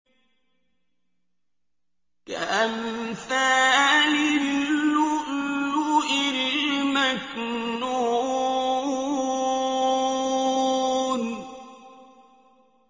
كَأَمْثَالِ اللُّؤْلُؤِ الْمَكْنُونِ